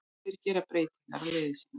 Og þeir gera breytingu á liði sínu.